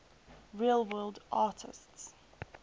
real world artists